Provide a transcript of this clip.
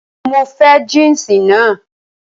Mo fẹ́ jínsì naa